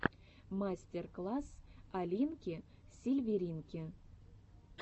мастер класс алинки сильверинки